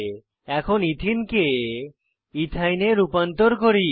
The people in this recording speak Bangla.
এখন এথেনে ইথিন কে ইথাইন ইথাইন এ রূপান্তর করি